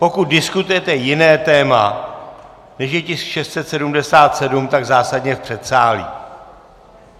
Pokud diskutujete jiné téma, než je tisk 677, tak zásadně v předsálí!